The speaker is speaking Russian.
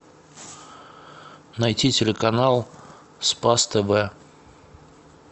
найти телеканал спас тв